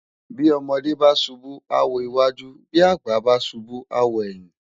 Bi òmòdè bá súbú á wó iwájú bi ágbà bá súbù á wó èyin